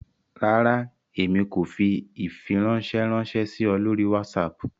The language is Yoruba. Rárá, Èmi ko fí ifiranṣẹ ranṣẹ sí ọ lórí WhatsApp